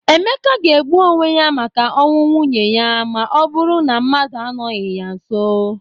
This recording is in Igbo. Emeka ga-egbu onwe ya maka ọnwụ nwunye ya ma ọ burụ na mmadụ anọghị ya nso.